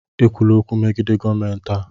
Ekwula okwu megide gọọmentị a!